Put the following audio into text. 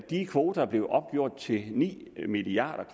de kvoter blev opgjort til ni milliard